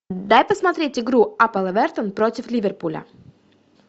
дай посмотреть игру апл эвертон против ливерпуля